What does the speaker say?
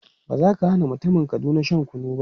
Ba za ka hana mutumin Kaduna shan kunu ba.